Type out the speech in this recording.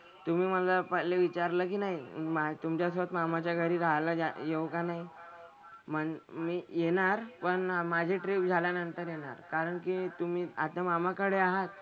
तुम्ही मला पहिले विचारलं की नाही तुमच्यासोबत मामाच्या घरी राहायला जा येऊ का नाही. म्हणजे मी येणार पण माझी ट्रिप झाल्यानंतर येणार. कारण की तुम्ही आता मामाकडे आहात?